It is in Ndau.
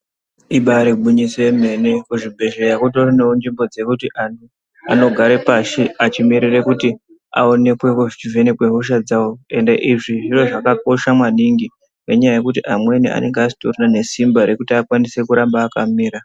Ibaari gwinyiso yemene, kuzvibhedhleya kutoriwo nenzvimbo dzekuti anhu, anogare pashi achimirire kuti aonekwe kuchizvivhenekwe hosha dzavo. Ende izvi zviro zvakakosha maningi, ngenyaya yekuti amweni anenga asitorina nesimba rekuti akwanise kuramba akamira.